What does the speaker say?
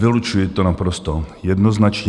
Vylučuji to naprosto jednoznačně.